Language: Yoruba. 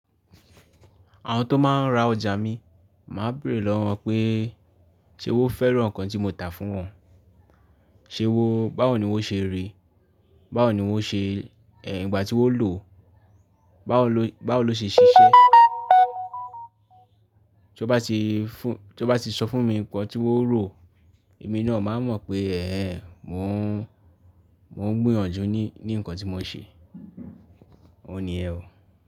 Àwọn tó máa ń ra ọjà mi, màá béèrè lọ́wọ́ wọn pé, ṣé o fẹ́ràn nǹkan tí mo tà fún wọn Ṣé wọ́n, báwo ni wọ́n ṣe rí? Báwo ni wọ́n ṣe, ẹ́, ìgbà tí wọ́n lòó, bawa lo, báwo ló ṣe ṣiṣẹ́? Tọ́ bá ti sọ fún mi nǹkan tí wọ́n rò, èmi náà máa mọ̀ pé ẹẹ́, mò ń, mo n gbìyànjú ní ni nǹkan tí mò ń ṣe. Ó níyẹn ò.